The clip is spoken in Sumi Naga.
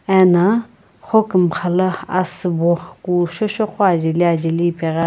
ena hokumxa la asübo kusho sho qo ajeli ajeli ipegh--